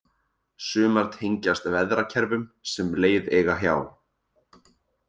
Sumar tengjast veðrakerfum sem leið eiga hjá.